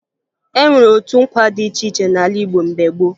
E nwere otu nkwa dị iche iche n'ala Igbo mgbe gboo